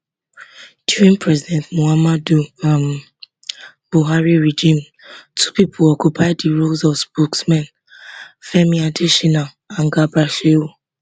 during president muhammadu um buhari regime two pipo occupy di role of spokesmen femi adesina and garba shehu